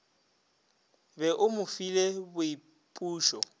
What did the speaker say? be o mo file boipušo